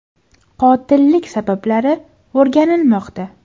Qotillik sabablari o‘rganilmoqda.